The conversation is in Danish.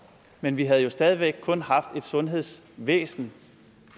men vi havde jo stadig væk kun haft et sundhedsvæsen